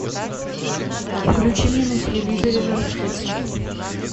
включи мне на телевизоре жар птица